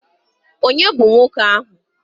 Ònye bụ nwoke ahụ?